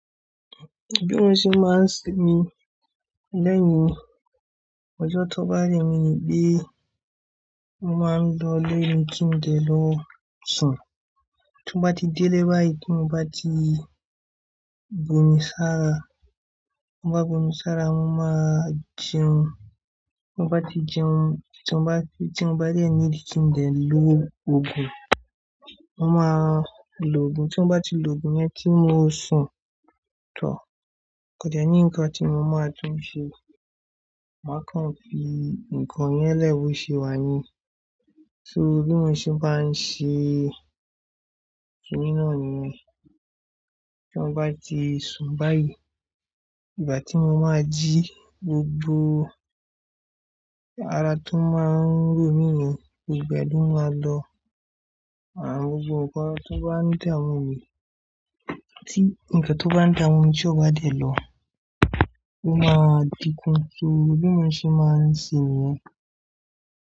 Bí mo ṣe máa ń sinmi lẹ́yìn ọjọ́ tó bá rẹ mi bí, mo máa ń lọ lé mi kí n lè lọ sùn. Tí mo bá ti délé báyìí tí mo bá ti bo mi sára, ti n ba bomi sára, mo máa jẹun. Ti mo bá ti jẹun, tí mo bá de need kí n de lo òògùn, mo máa lo òògùn. Tí wọ́n bá ti lo òògùn yẹn tí mo sùn tán, kò dẹ́ ní nǹkan tí mo máa tún ṣe. Màá kàn fi nǹkan yẹn lẹ́ bo ṣe wá ni. So, bi mo ṣe máa ń ṣe isinmi náà ni. Tí mo bá ti sun báyìí, ìgbà tí mo máa jí gbogbo ara tó máa ń ro mí yẹn, gbogbo ẹ̀ lo máa lọ. Àán, gbogbo nǹkan tó bá ń daa mu mi, tí nǹkan tó bá ń daamu mi tí ó bá dẹ̀ lọ, ó máa dínkù. So, bi mo ṣe máa ń se niyẹn.